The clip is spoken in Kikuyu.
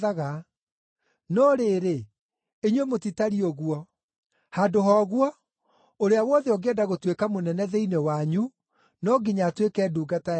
No rĩrĩ, inyuĩ mũtitariĩ ũguo. Handũ ha ũguo, ũrĩa wothe ũngĩenda gũtuĩka mũnene thĩinĩ wanyu no nginya atuĩke ndungata yanyu,